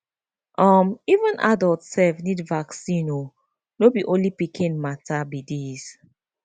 um even adult sef need vaccine o no be only pikin matter be this